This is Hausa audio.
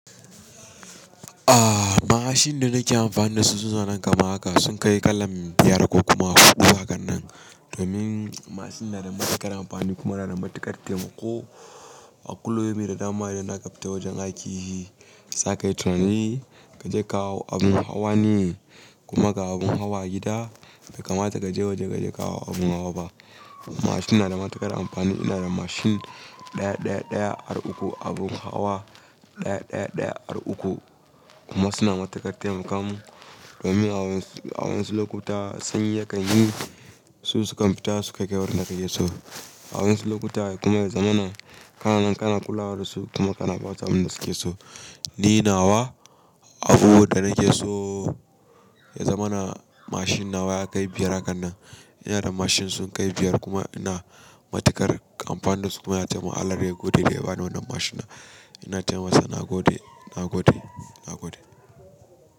Ah! Mashin da nike amfani da su suna nan kama haka sun kai kallan biyar ko kuma huɗu hakan nan. Domin mashin nada matuƙar amfani kuma nada matuƙar taimako. A kullum in da dama ina kaifta wajen aiki. Zakai tunani kaje kawo abun hawa ne, kuma ga abun hawa gida. Bekama takaje waje kaje ka hau abun hawa ba. Mashin nada matuƙar amfani. Ina da mashin ɗaya ɗaya ɗaya har uku abun hawa ɗaya ɗaya ɗaya har uku kuma suna matuƙar taimaka mun. Domin awansu awansu lokuta sanyi ya kan yi su sukan fita suka kai wurin da kayi so. Awansu lokuta kuma ya zama na kana nan kana kulawa da su kuma kana basu abunda suke so. Ni nawa abu da nake so ya zama na mashin nawa ya kai biyar hakan nan. Ina da mashin sun kai biyar kuma ina matuƙar amfanin da su kuma ina allah ya gode daya bani wannan mashin na. Ina ce masa na gode, na gode, na gode.